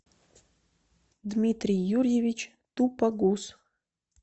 дмитрий юрьевич тупогуз